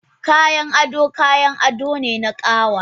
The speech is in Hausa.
Kayan ado kayan ado ne na ƙawa